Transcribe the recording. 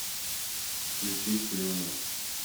включи слюни